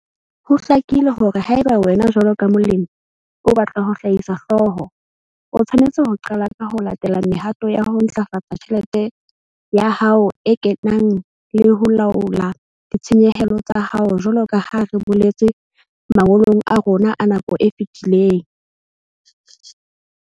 Ho hlakile hore haeba wena jwalo ka molemi o batla ho hlahisa hlooho, o tshwanetse ho qala ka ho latela mehato ya ho ntlafatsa tjhelete ya hao e kenang le ho laola ditshenyehelo tsa hao jwalo ka ha re boletse mangolong a rona a nako e fetileng.